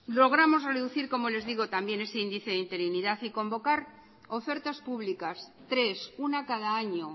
logramos reducir como les digo también ese índice de interinidad y convocar ofertas públicas tres una cada año